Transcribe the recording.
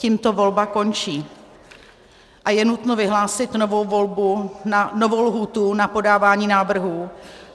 Tímto volba končí a je nutno vyhlásit novou lhůtu na podávání návrhů.